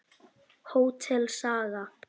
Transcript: Hótel Saga.